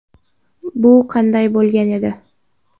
Bu qanday bo‘lgan edi?.